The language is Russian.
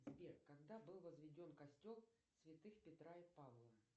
сбер когда был возведен костел святых петра и павла